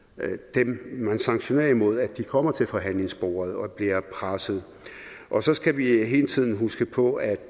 dem man sanktionerer mod kommer til forhandlingsbordet og bliver presset og så skal vi hele tiden huske på at